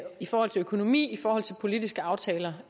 i forhold til økonomi i forhold til politiske aftaler